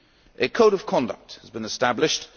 A code of conduct has been established.